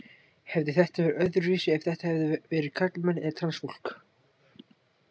Hefði þetta verið öðruvísi ef þetta hefðu verið karlmenn eða transfólk?